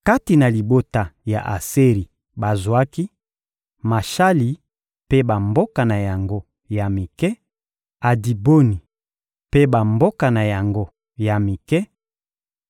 Kati na libota ya Aseri, bazwaki: Mashali mpe bamboka na yango ya mike, Abidoni mpe bamboka na yango ya mike,